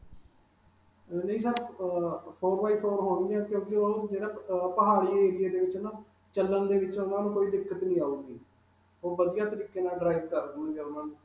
ਅਅ ਨਹੀਂ sir, ਅਅ four by four ਹੋਣ ਗਿਆਂ ਕਿਉਂਕਿ ਉਹ ਜਿਹੜਾ ਅਅ ਪਹਾੜੀ area ਦੇ ਵਿਚ ਨਾ ਚਲਣ ਦੇ ਵਿਚ ਉਨ੍ਹਾਂ ਨੂੰ ਕੋਈ ਦਿੱਕਤ ਨਹੀਂ ਆਊਗੀ. ਉਹ ਵਧੀਆ ਤਰੀਕੇ ਨਾਲ drive ਕਰ .